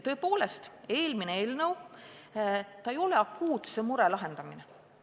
Tõepoolest, eelmise eelnõu sisu ei ole akuutse mure lahendamine.